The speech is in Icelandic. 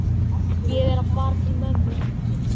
Ég er að fara til mömmu.